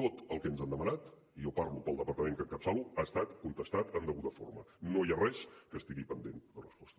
tot el que ens han demanat i jo parlo pel departament que encapçalo ha estat contestat en deguda forma no hi ha res que estigui pendent de resposta